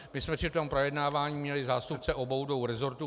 My jsme při tom projednávání měli zástupce obou dvou rezortů.